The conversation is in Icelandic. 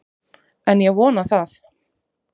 En ég vona það!